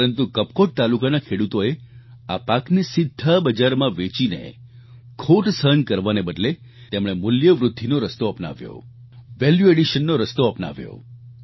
પરંતુ કપકોટ તાલુકાના ખેડૂતોએ આ પાકને સીધા બજારમાં વેચીને ખોટ સહન કરવાને બદલે તેમણે મૂલ્ય વૃદ્ધિનો રસ્તો અપનાવ્યો વેલ્યુ એડિશન નો રસ્તો અપનાવ્યો